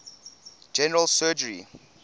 general surgery